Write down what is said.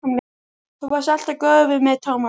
Þú varst alltaf góður við mig, Tómas.